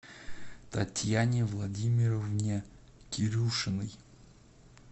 татьяне владимировне кирюшиной